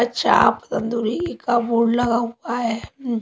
अच्छा आप तंदूरी का बोर्ड लगा हुआ है।